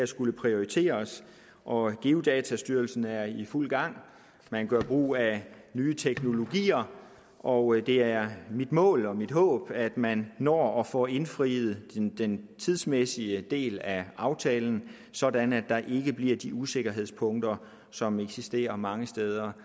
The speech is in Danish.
skulle prioriteres og geodatastyrelsen er i fuld gang man gør brug af nye teknologier og det er målet og mit håb at man når at få indfriet den tidsmæssige del af aftalen sådan at der ikke bliver de usikkerhedspunkter som eksisterer mange steder